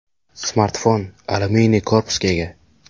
Smartfon alyuminiy korpusga ega.